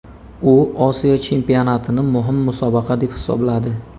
U Osiyo Chempionatini muhim musobaqa deb hisobladi.